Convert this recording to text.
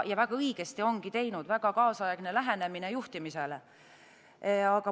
Väga õigesti on teinud, väga kaasaegne lähenemine juhtimisele.